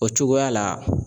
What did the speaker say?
O cogoya la.